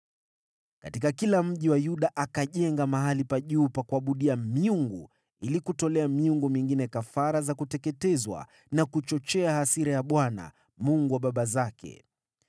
Katika kila mji wa Yuda akajenga mahali pa juu pa kuabudia miungu ili kutolea miungu mingine kafara za kuteketezwa na kuchochea hasira ya Bwana , Mungu wa baba zake.